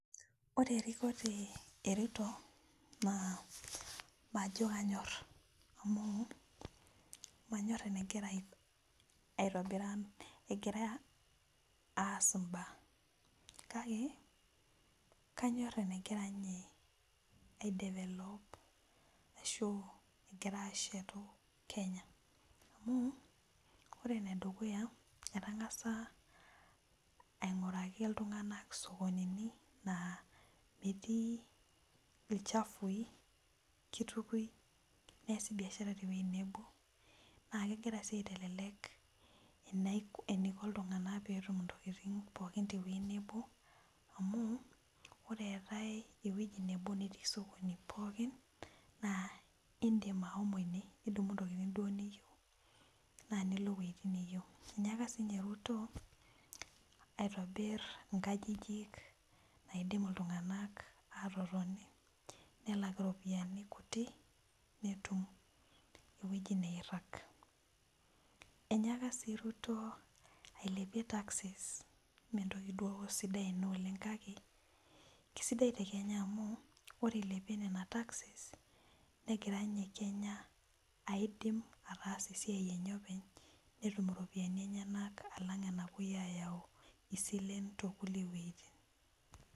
Ore erikore eruto majo kanyor amu manyor enwgira aas mbaa kakebkanyor enegira ninye ashetu. Kenya amu ore enedukuya etangasa ainguraki ltunganak isokonini na metii ilchafui kitukoi neasi biashara tenebo na kegira si aitelek eniko ltunganak pookin ntokitin pookin tewueji nabo amu ore eetae ewoi nabo natii osokoni pookin na indim ashomo ine nidumu ntokitin niyieu nindim ashomo ewoi niyieu neaku inyaka sinye ruto aitobir nkajijik naidim ltunganak atotoni nelak iropiyiani kutik netum ewoji nairag inyaka sii ruto ailepie taxes mentoki duo sidai ena oleng kake kesidai tekenya amu ore ilepie nona texes negira nye kenya ataasa siatin enye openy netum iropiyani pemitoki ayau silen tonkulie wuejitin.